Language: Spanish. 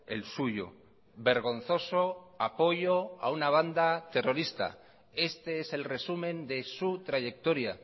el suyo vergonzoso apoyo a una banda terrorista este es el resumen de su trayectoria